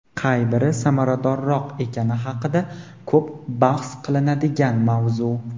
qay biri samaradorroq ekani haqida ko‘p bahs qilinadigan mavzu.